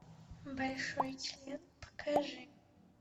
большой член покажи